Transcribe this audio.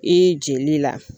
I jeli la.